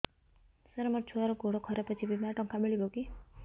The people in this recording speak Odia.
ସାର ମୋର ଛୁଆର ଗୋଡ ଖରାପ ଅଛି ବିମାରେ ଟଙ୍କା ମିଳିବ କି